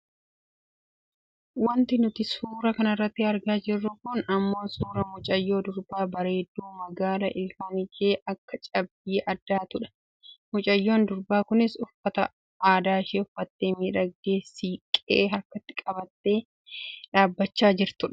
Wanti nuti suuraa kanarratti argaa jirru kun ammoo suuraa mucayyoo durbaa, bareedduu, magaala ilkaan ishee akka cabbii addaatudha. Mucayyoon durbaa kunis uffata aadaashee uffattee miidhagdee siiqqee harkatti qabattee dhaabbachaa kan jirtudha.